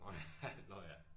Nå ja nå ja